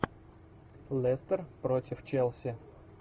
лестер против челси